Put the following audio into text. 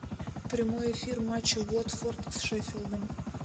прямой эфир матча уотфорд с шеффилдом